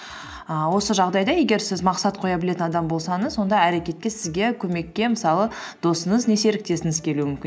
ііі осы жағдайда егер сіз мақсат қоя білетін адам болсаңыз онда әрекетке сізге көмекке мысалы досыңыз не серіктесіңіз келуі мүмкін